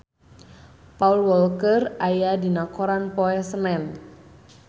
Paul Walker aya dina koran poe Senen